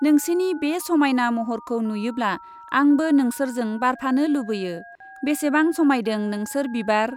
नोंसिनि बे समायना महरखौ नुयोब्ला आंबो नोंसोरजों बारफानो लुबैयो , बेसेबां समायदों नोंसोर बिबार !